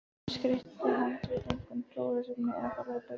Hin skreyttu handrit eru einkum trúarlegs efnis eða þá lögbækur.